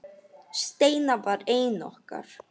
Steina var ein okkar.